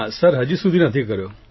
sir હજી સુધી નથી કર્યો